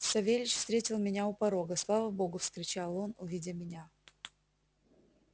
савельич встретил меня у порога слава богу вскричал он увидя меня